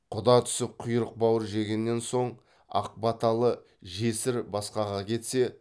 құда түсіп құйрық бауыр жегеннен соң ақ баталы жесір басқаға кетсе